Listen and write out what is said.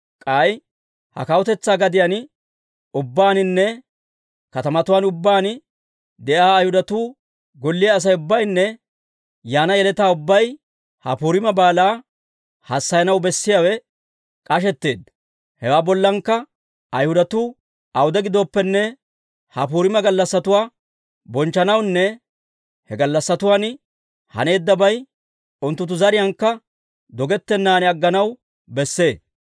K'ay, ha kawutetsaa gadiyaan ubbaaninne katamatuwaan ubbaan de'iyaa Ayhudatuu golliyaa Asay ubbaynne yaana yeletaa ubbay ha Puriima Baalaa hassayanaw bessiyaawe k'ashetteedda. Hewaa bollankka, Ayhudatuu awude giddooppene, ha Puriima gallassatuwaa bonchchanawunne he gallassatuwaan haneeddabay unttunttu zariyaankka dogettennan agganaw besse.